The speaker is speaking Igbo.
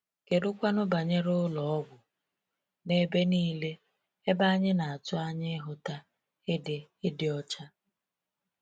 Kedụkwanụ banyere ụlọ ọgwụ—n’ebe niile, ebe anyị na-atụ anya ịhụta ịdị ịdị ọcha?